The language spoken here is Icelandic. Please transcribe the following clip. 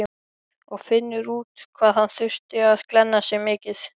Og finnur út hvað hann þurfi að glenna sig mikið.